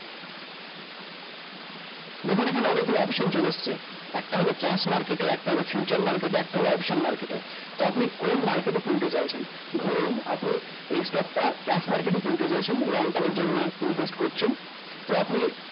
দেখুন এখানে অনেকগুলা option চলে এসছে একটা হলো cash market এ একটা হলো future market এ একটা হলো option market এ তো আপনি কোন market এ কিনতে চাইতেছেন ধরুন আপনি এই stock টা cash market এই কিনতে চাইতেছেন long time এর জন্য invest করছেন তো আপনি